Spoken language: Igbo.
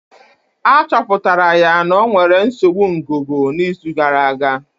Achọpụtara ya na ọ nwere nsogbu ngụgụ na izu gara aga